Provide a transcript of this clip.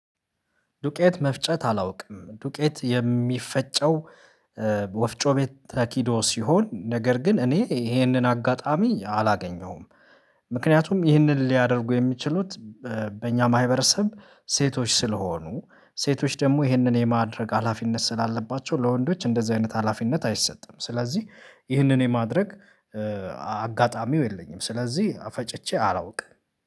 ዱቄት መፍጨት አላውቅም። ዱቄት የሚፈጨው ወፍጮ ቤት ተኪዶ ሲሆን፤ ነገር ግን እኔ ይሄንን አጋጣሚ አላገኘውም። ምክንያቱም ይህንን ሊያደርጉ የሚችሉት በእኛ ማህበረሰብ ሴቶች ስለሆኑ ሴቶች ደግሞ ይህንን የማድረግ ሀላፊነት ስላለባቸው ለወንዶች እንደዚህ አይነት ሀላፊነት አይሰጥም። ስለዚህ ይህንን የማድረግ አጋጣሚው የለኝም፤ ስለዚህ ፈጭቼ አላውቅም።